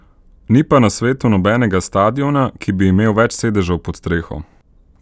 Ni pa na svetu nobenega stadiona, ki bi imel več sedežev pod streho.